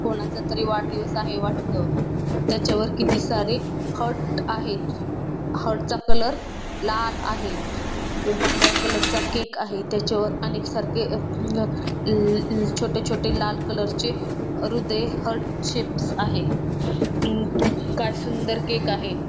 कोणाचा तरी वाढदिवस आहे वाटत त्याच्या वर किती सारी हर्ट आहे हर्ट चा कलर लाल आहे व पांढऱ्या कलर च केक आहे त्याच्यावर अनेक सारखे व छोटे छोटे लाल कलर चे हृदय हर्ट शेपस आहेत काय सुंदर केक आहे.